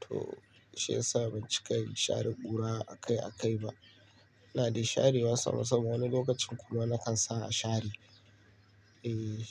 To shi ya sa ban cika yin share ƙura a kai a kai ba. Ina dai share wa sama sama wani lokacin kuma na kan sa a share. Eh.